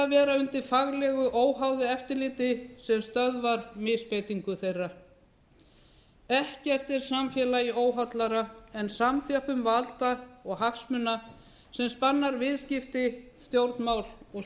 vera undir faglegu óháðu eftirliti sem stöðvar misbeitingu þeirra ekkert er samfélaginu óhollara en samþjöppun valda og hagsmuna sem spannar viðskipti stjórnmál og